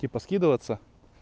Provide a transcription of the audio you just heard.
типа скидываться